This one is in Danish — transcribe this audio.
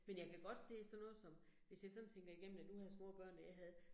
Men jeg kan godt se sådan noget som, hvis jeg sådan tænker igennem, da du havde små børn da jeg havde